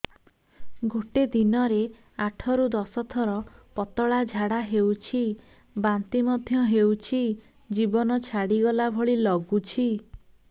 ଗୋଟେ ଦିନରେ ଆଠ ରୁ ଦଶ ଥର ପତଳା ଝାଡା ହେଉଛି ବାନ୍ତି ମଧ୍ୟ ହେଉଛି ଜୀବନ ଛାଡିଗଲା ଭଳି ଲଗୁଛି